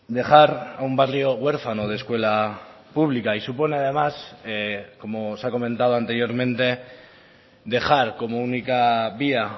dejar a un barrio huérfano de escuela pública y supone además como se ha comentado anteriormente dejar como única vía